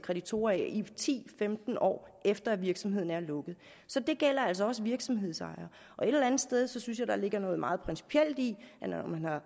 kreditorer i ti femten år efter at virksomheden er lukket så det gælder altså også virksomhedsejere et eller andet sted synes jeg at der ligger noget meget principielt i at når man har